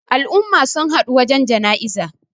al'umma sun haɗu wajen janaiza